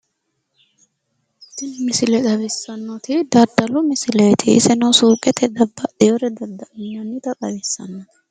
Tini misile xawissannoti daddalu misileeti iseno suuqete babbaxxewoore dadda'linannita xawissanno.